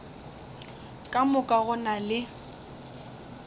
ka moka go na le